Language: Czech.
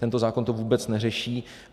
Tento zákon to vůbec neřeší.